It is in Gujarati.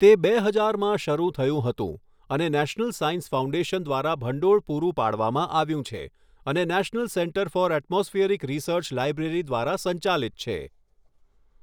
તે બે હજારમાં શરૂ થયું હતું અને નેશનલ સાયન્સ ફાઉન્ડેશન દ્વારા ભંડોળ પૂરું પાડવામાં આવ્યું છે અને national centre for atmospheric research library દ્વારા સંચાલિત છે.